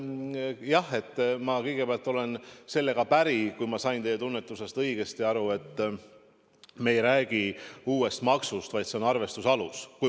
Jah, ma kõigepealt olen sellega päri – kui ma sain teie tunnetusest õigesti aru –, et me ei räägi uuest maksust, vaid see on arvestuse alus.